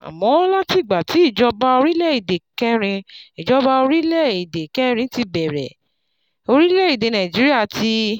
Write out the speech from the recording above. Àmọ́, látìgbà tí ìjọba orílẹ̀-èdè kẹrin ìjọba orílẹ̀-èdè kẹrin ti bẹ̀rẹ̀, orílẹ̀-èdè Nàìjíríà ti